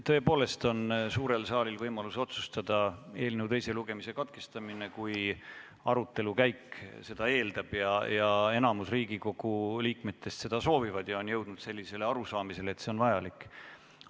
Tõepoolest on suurel saalil võimalus otsustada eelnõu teise lugemise katkestamise üle, kui arutelu käik seda eeldab ning enamik Riigikogu liikmeid seda soovib ja on jõudnud arusaamisele, et see on vajalik.